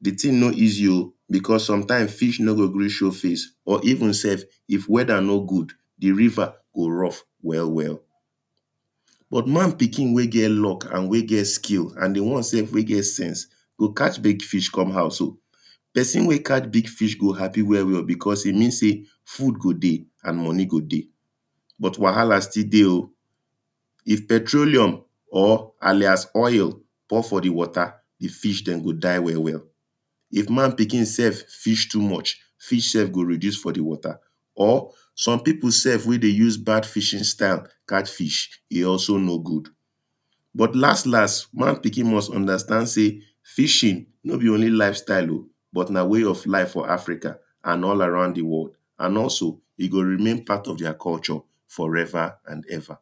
di thing no easy oh, because some time fish no go gree show face or even sef if weather no good di river go rough well well. but man pikin wen get luck and wen get skills and di one sef wey get sense, go catch big fish come house oh, person wen catch big fish go happy well well, because e mean sey food go dey and money go dey. But wahala still dey oh, if petroluem or alais oil pour for di water, di fish dem go die well well, if man pikin sef fish too much, fish sef go reduce for di water. Or some people sef wen dey use bad fishing style catch fish e also no good. But last last man pikin must understand sey, fishing no be only life style oh, but na way of life for Africa and all around di world and also e go remain part of their culture for ever and ever.